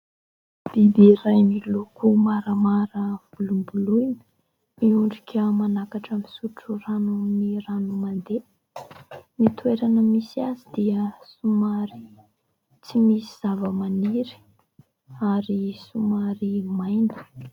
Biby iray miloko maramara volomboloina, miondrika manakatra misotro rano ny rano mandeha. Ny toerana misy azy dia somary tsy misy zava-maniry ary somary maina.